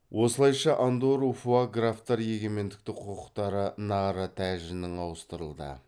осылайша андорру фуа графтар егеменді құқықтары наарра тәжінің ауыстырылды